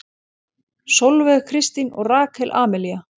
Sólveig Kristín og Rakel Amelía.